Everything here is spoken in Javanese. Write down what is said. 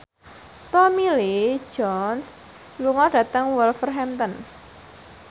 Tommy Lee Jones lunga dhateng Wolverhampton